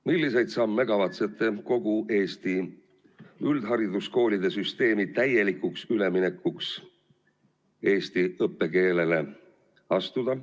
Milliseid samme kavatsete astuda Eesti üldhariduskoolide süsteemi täielikuks üleminekuks eesti õppekeelele?